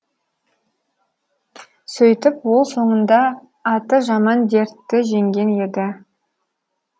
сөйтіп ол соңында аты жаман дертті жеңген еді